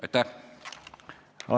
Aitäh!